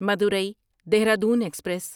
Madurai Dehradun express